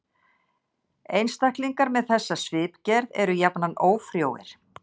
Einstaklingar með þessa svipgerð eru jafnan ófrjóir.